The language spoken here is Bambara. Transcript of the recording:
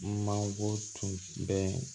Mangoro tun bɛ